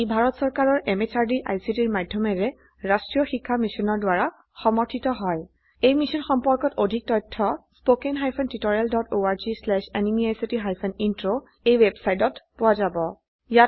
ই ভাৰত চৰকাৰৰ MHRDৰ ICTৰ মাধয়মেৰে ৰাস্ত্ৰীয় শিক্ষা মিছনৰ দ্ৱাৰা সমৰ্থিত হয় এই মিশ্যন সম্পৰ্কত অধিক তথ্য spoken hyphen tutorial dot org slash এনএমইআইচিত হাইফেন ইন্ট্ৰ ৱেবচাইটত পোৱা যাব